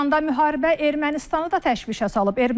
İrandan müharibə Ermənistanı da təşvişə salıb.